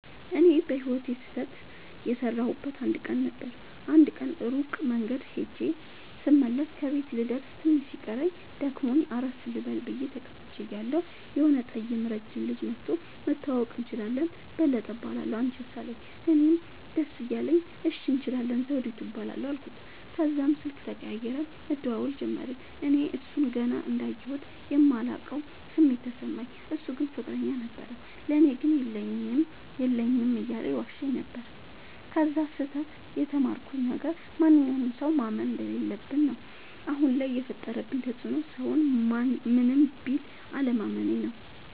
እኔ በህይወቴ ስህተት የሠረውበት አንድ ቀን ነበር። አንድ ቀን ሩቅ መንገድ ኸጀ ስመለስ ከቤቴ ልደርስ ትንሽ ሲቀረኝ ደክሞኝ አረፍ ልበል ብየ ተቀምጨ እያለሁ የሆነ ጠይም ረጅም ልጅ መኧቶ<< መተዋወቅ እንችላለን በለጠ እባላለሁ አንችስ አለኝ>> አለኝ። እኔም ደስ እያለኝ እሺ እንችላለን ዘዉዲቱ እባላለሁ አልኩት። ተዛም ስልክ ተቀያይረን መደዋወል ጀመርን። እኔ እሡን ገና እንዳየሁት የማላቀዉ ስሜት ተሰማኝ። እሡ ግን ፍቅረኛ ነበረዉ። ለኔ ግን የለኝም የለኝም እያለ ይዋሸኝ ነበር። ከዚ ስህተ ት የተማርኩት ነገር ማንኛዉንም ሠዉ ማመን እንደለለብኝ ነዉ። አሁን ላይ የፈጠረብኝ ተፅዕኖ ሠዉን ምንም ቢል አለማመኔ ነዉ።